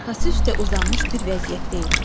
Arxası üstə uzanmış bir vəziyyətdə idi.